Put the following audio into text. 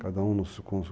Cada um com o seu